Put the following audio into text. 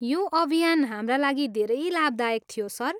यो अभियान हाम्रा लागि धेरै लाभदायक थियो, सर।